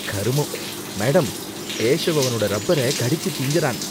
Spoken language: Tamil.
கருமம்! மேடம், கேசவ் அவனோட ரப்பர கடிச்சு திங்கறான்.